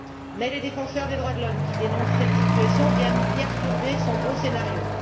Mais les défenseurs des droits de l'homme, qui dénoncent cette situation, viennent perturber son beau scénario.